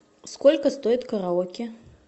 сколько стоит караоке